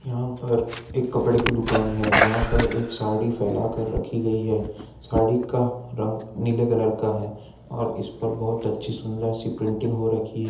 यहाँ पर एक कपड़े की दुकान है जहाँ पर एक साड़ी फैला कर रखी गयी है साड़ी का रंग नीले कलर का है और इस पर बहोत अच्छी सुन्दर सी प्रिंटिंग हो रखी है।